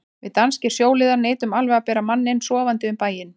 Við danskir sjóliðar neitum alveg að bera manninn sofandi um bæinn.